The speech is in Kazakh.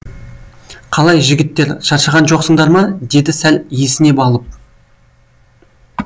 қалай жігіттер шаршаған жоқсыңдар ма деді сәл есінеп алып